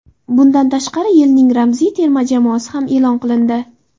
Bundan tashqari yilning ramziy terma jamoasi ham e’lon qilindi.